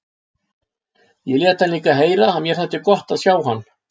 Ég lét hann líka heyra að mér þætti gott að sjá hann.